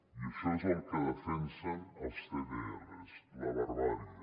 i això és el que defensen els cdrs la barbàrie